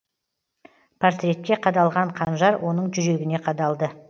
портретке қадалған қанжар оның жүрегіне қадалды